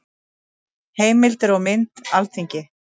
Heimildir og mynd: Alþingi.